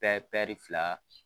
fila